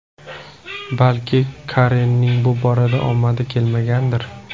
Balki Karenning bu borada omadi kelmagandir?